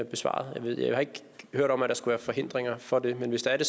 besvaret jeg har ikke hørt om at der skulle være forhindringer for det men hvis det er det